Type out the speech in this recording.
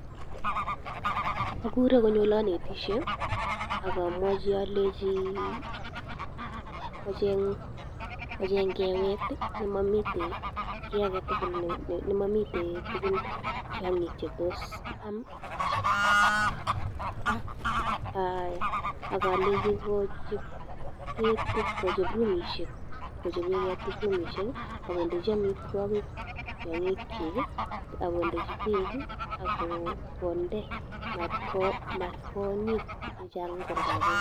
Ogure konyo oleanetishen ak amwachi alenji kocheng kewet ne momiten kiy age tugul, nemomiten tiong'ik che tos am ak alenji kochob ketik, kochop rumishek, kochoben ketik rumishek ak kondeji amitwogik tiong'ikyik ak kondechi beek ak konde mat konyit chechang en oldo age.